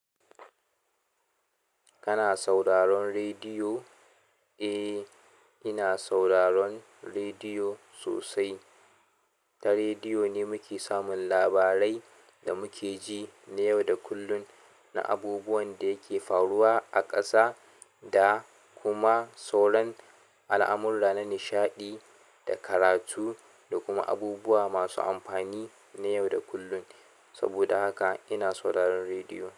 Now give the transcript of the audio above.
Kana sauraron rediyo? Eh, ina sauraron rediyo sosai. Ta rediyo ne muke samun labarai da muke ji na yau da kullun na abubuwan da yake faruwa a ƙasa da kuma sauran al'amurra na nishaɗi da karatu da kuma abubuwa masu amfani na yau da kullun. Saboda haka ina sauraron rediyo.